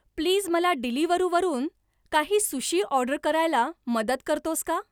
Please मला Deliveroo वरून काही सुशी ऑर्डर करायला मदत करतोस का ?